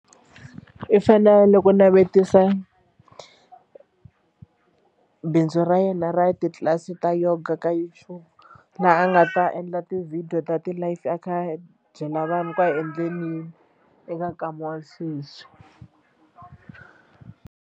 I fane loko navetisa bindzu ra yena ra titlilasi ta yoga ka YouTube laha a nga ta endla tivhidiyo ta ti-live a kha a byela vanhu ku a hi endleni yini eka nkama wa sweswi.